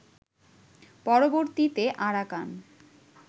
পরবর্তীতে আরাকান